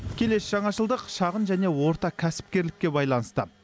келесі жаңашылдық шағын және орта кәсіпкерлікке байланысты